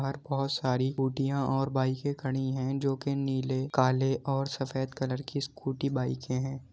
बाहर बहोत सारी स्कूटियाँ और बाइके खड़ी हैं जो कि नीले काले और सफेद कलर की स्कूटी बाइके हैं।